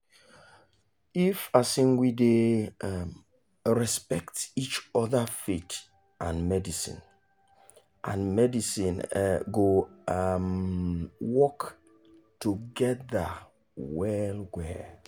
if um we dey um respect each other faith and medicine and medicine go um work together well-well.